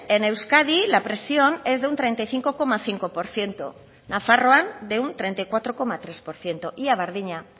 en euskadi la presión es de un treinta y cinco coma cinco por ciento nafarroan de un treinta y cuatro coma tres por ciento ia berdina